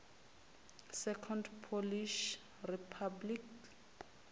second polish republic